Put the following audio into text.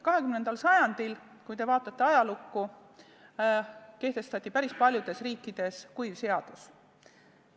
Me teame, et 20. sajandil kehtestati päris paljudes riikides kuiv seadus.